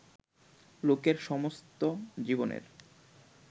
লোকের সমস্ত জীবনের